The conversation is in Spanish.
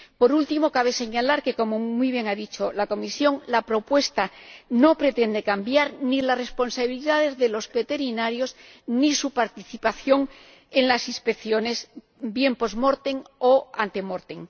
Por último, cabe señalar que, como muy bien ha dicho la Comisión, la propuesta no pretende cambiar ni las responsabilidades de los veterinarios ni su participación en las inspecciones, bien post mortem o ante mortem